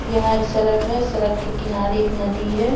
यहाँ एक सरक है सरक के किनारे एक नदी है।